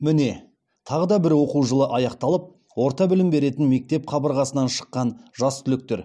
міне тағы да бір оқу жылы аяқталып орта білім беретін мектеп қабырғасынан шыққан жас түлектер